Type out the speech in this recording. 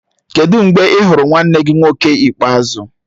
Kedụ mgbe ị hụrụ nwanne gị nwoke ikpeazụ?